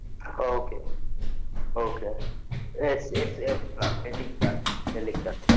okay okay yes yes yes mam இன்னைகு சாய்ந்தரம்